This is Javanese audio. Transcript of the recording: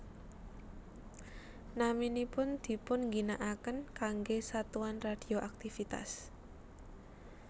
Naminipun dipunginaaken kanggé satuan radioaktivitas